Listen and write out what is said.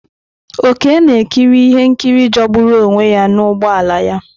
Oke ga-ekiri ihe nkiri jọgburu onwe ya n'ụgbọ ala ya.